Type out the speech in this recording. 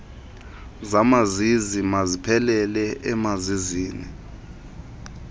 zamazizi maziphelele emazizini